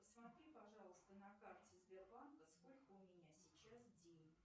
посмотри пожалуйста на карте сбербанка сколько у меня сейчас денег